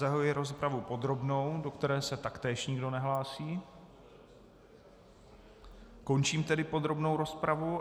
Zahajuji rozpravu podrobnou, do které se taktéž nikdo nehlásí, končím tedy podrobnou rozpravu.